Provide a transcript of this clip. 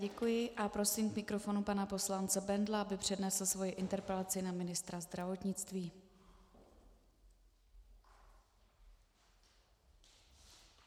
Děkuji a prosím k mikrofonu pana poslance Bendla, aby přednesl svoji interpelaci na ministra zdravotnictví.